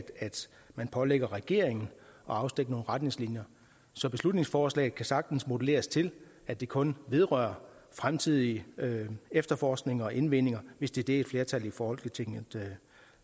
man pålægger regeringen at afstikke nogle retningslinjer så beslutningsforslaget kan sagtens modeleres til at det kun vedrører fremtidig efterforskning og indvinding hvis det er det et flertal i folketinget